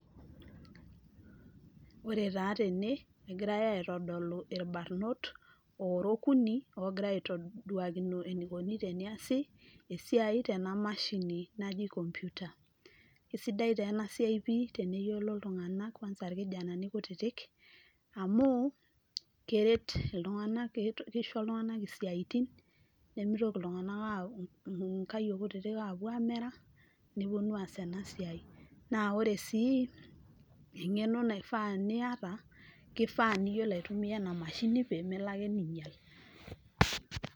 Ore taa tene egirae aitodolu irbarnot ooda okuni oogira aitduakino eneikoni teneesi esiai tena mashini naji computer kisidai taa ena siai pii teniyiolo iltunganak, kuansa irkijenani kutitik amu, keret iltunganak kisho iltunganak isiatin, nemeitoki nkayiok kutitik, aapuo aamera, nepuonu aas ena siai, naa ore sii eng'eno naifaa niyata kifaa niyiolo aitumia ena mashini pee melo ake ningiala,